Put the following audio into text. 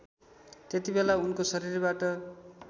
त्यतिबेला उनको शरीरबाट